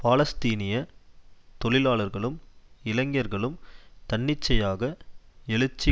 பாலஸ்தீனிய தொழிலாளர்களும் இளைஞர்களும் தன்னிச்சையாக எழுச்சி